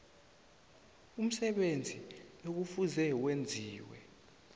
umsebenzi ekufuze wenziwe